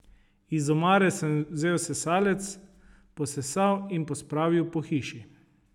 Iz omare sem vzel sesalec, posesal in pospravil po hiši.